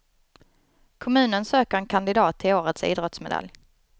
Kommunen söker en kandidat till årets idrottsmedalj.